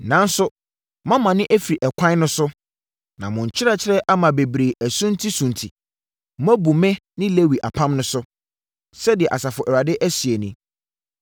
Nanso moamane afiri ɛkwan no so, na mo nkyerɛkyerɛ ama bebree asuntisunti; moabu me ne Lewi apam no so.” Sɛdeɛ Asafo Awurade seɛ nie.